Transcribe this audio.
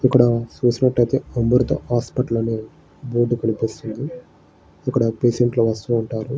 ఇక్కడ చూసినట్టుయితే అమృత హాస్పిటల్ అని బోర్డు కనిపిస్తున్నది ఇక్కడ పేషెంట్లు వస్తుంటారు.